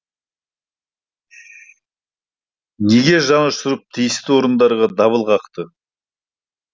неге жанұшырып тиісті орындарға дабыл қақты